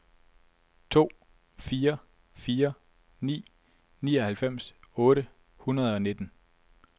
to fire fire ni nioghalvfems otte hundrede og nitten